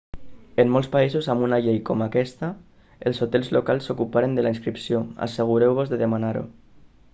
en molts països amb una llei com aquesta els hotels locals s'ocuparan de la inscripció assegureu-vos de demanar-ho